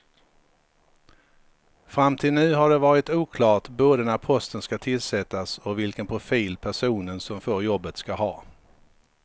Fram till nu har det varit oklart både när posten ska tillsättas och vilken profil personen som får jobbet ska ha.